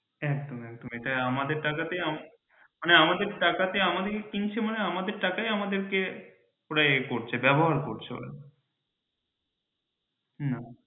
একদম একদম এটা ঠিক আমাদের টাকাতেই আমাদের কিনছে মানে আমাদের টাকাই আমাদেরকে এ করছে ব্যবহার করছে না